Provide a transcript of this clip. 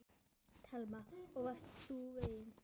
Telma: Og varst þú feginn?